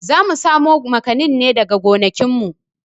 Zamu samo makanin ne daga gonakin mu